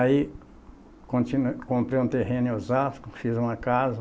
Aí continu, comprei um terreno em Osasco, fiz uma casa,